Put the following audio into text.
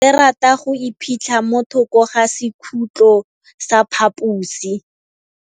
Legôtlô le rata go iphitlha mo thokô ga sekhutlo sa phaposi.